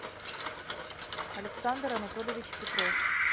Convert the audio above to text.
александр анатольевич петров